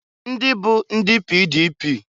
Ndịbụ ndị PDP.